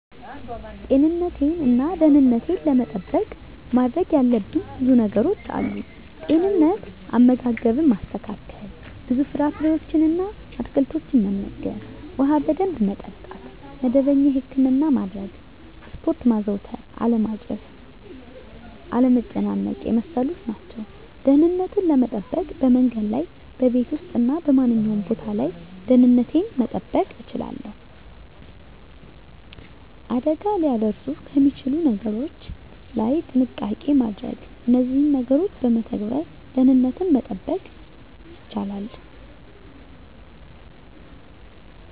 ጤንነቴን እና ደህንነቴን ለመጠበቅ ማድረግ ያለብኝ ብዙ ነገሮች አሉ፦ * ጤንነት፦ * አመጋገብን ማስተካከል፣ ብዙ ፍራፍሬዎችን እና አትክልቶችን መመገብ፣ ውሃ በደንብ መጠጣት፣ መደበኛ የህክምና ማድረግ፣ ስፖርት ማዘውተር አለማጨስ፣ አለመጨናነቅ የመሳሰሉት ናቸው። * ደህንነትን ለመጠበቅ፦ በመንገድ ላይ፣ በቤት ውስጥ እና በማንኛውም ቦታ ላይ ደህንነቴን መጠበቅ እችላለሁ። አደጋ ሊያደርሱ ከሚችሉ ነገሮች ላይ ጥንቃቄ ማድረግ እነዚህን ነገሮች በመተግበር ደህንነትን መጠበቅ ይቻላሉ።